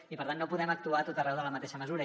i per tant no podem actuar a tot arreu de la mateixa manera